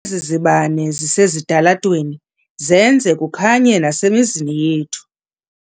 Ezi zibane zisesitalatweni zenza kukhanye nasemizini yethu.